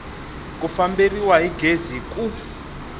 ku famberiwa hi gezi ku